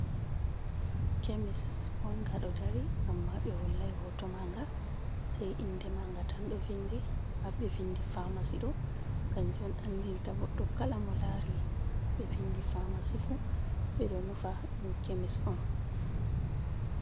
Kemis bonga ɗo dari, amma ɓe hollai hoto maanga sei inde maanga tan ɗo vindi, haa ɓe vindi famasi ɗo kanjum on andinta goɗɗo kala mo laari ɓe vindi famasi fuu ɓe ɗo nufa ɗum kemis on.